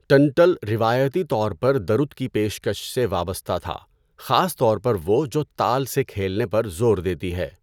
ٹنٹل روایتی طور پر درُت کی پیشکش سے وابستہ تھا، خاص طور پر وہ جو تال سے کھیلنے پر زور دیتی ہے۔